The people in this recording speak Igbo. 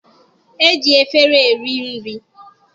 E ji efere eri nri.